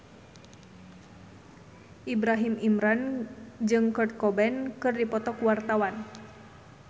Ibrahim Imran jeung Kurt Cobain keur dipoto ku wartawan